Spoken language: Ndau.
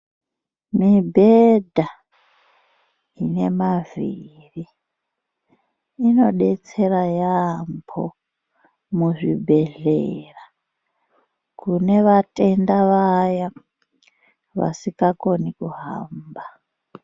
Mibhedha ine mavhiri inodetsera yambo muzvibhedhlera kune vatenda Vaya vasingakomi kuhamba .